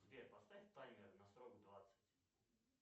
сбер поставь таймер на срок двадцать